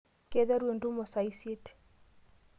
Keiteru entumo saa isiet.